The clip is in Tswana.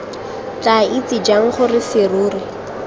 tla itse jang gore serori